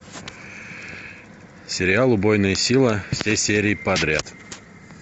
сериал убойная сила все серии подряд